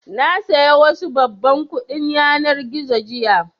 Na saya wasu babban kuɗin yanar gizo jiya